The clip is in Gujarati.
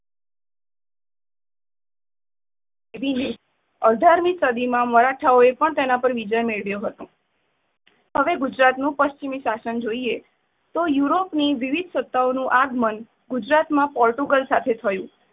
કરી ને અઢારમી સદી માં મરાઠાઓ એ પણ એના પર વિજય મેળવ્યો હતો. અગર ગુજરાત ની પચ્છિમી સાશન જોઈએ તો યુરોપ ની વિવિધ સત્તઓનું આગમન ગુજરાત માં પોટુગલો સાથે થયું.